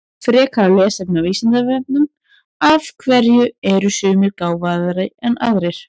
Frekara lesefni á Vísindavefnum Af hverju eru sumir gáfaðri en aðrir?